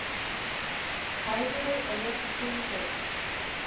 Hægari og léttir til í kvöld